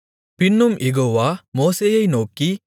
பின்னும் யெகோவா மோசேயை நோக்கி